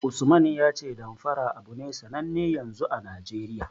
Usman ya ce Damfara abu ne sanne yanzu a Najeriya.